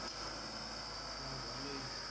হ্যাঁ ভালোই।